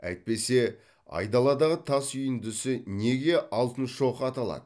әйтпесе айдаладағы тас үйіндісі неге алтын шоқы аталады